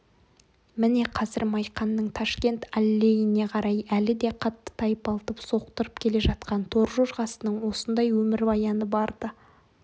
міне қазір майқанның ташкент аллейіне қарай әлі де қатты тайпалтып соқтырып келе жатқан торжорғасының осындай өмірбаяны бар-ды